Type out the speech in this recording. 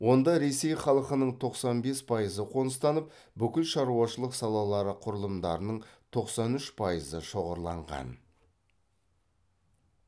онда ресей халқының тоқсан бес пайызы қоныстанып бүкіл шаруашылық салалары құрылымдарының тоқсан үш пайызы шоғырланған